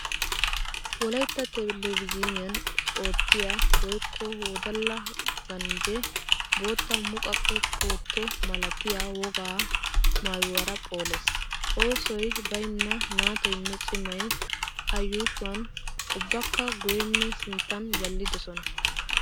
Wolaytta Teleevizhiniyan oottiya woykko wodalla ganjje bootta muqaqe puutto malatiya woga maayuwara phoolees! Oosoy baynna naatoynne cimay A yuushuwaninne ubbakka guyyeninne sinttan jallidosona.